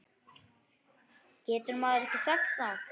Getur maður ekki sagt það?